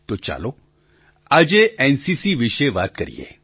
તો ચાલો આજે એનસીસી વિશે વાત કરીએ